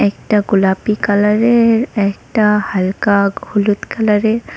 একটা গোলাপী কালারের একটা হালকা হলুদ কালারের।